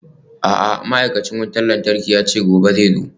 A'a ma'aikacin wutar lantarki yace gobe zai zo.